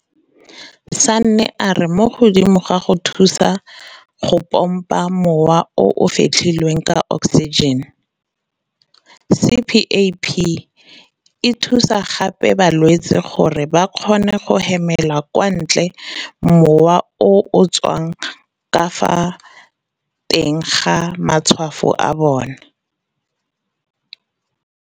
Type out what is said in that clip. Sanne a re mo godimo ga go thusa go pompa mowa o o fetlhilweng ka oksijene, CPAP e thusa gape balwetse gore ba kgone go hemela kwa ntle mowa o o tswang ka fa teng ga matshwafo a bona.